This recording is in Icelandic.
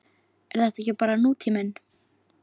Er þetta ekki bara nútíminn?